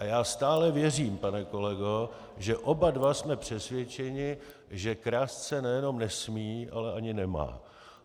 A já stále věřím, pane kolego, že oba dva jsme přesvědčeni, že krást se nejenom nesmí, ale ani nemá.